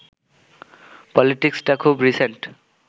পলিটিক্সটা খুব রিসেন্ট